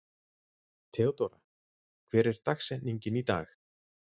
Theódóra, hver er dagsetningin í dag?